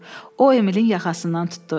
O Emilin yaxasından tutdu.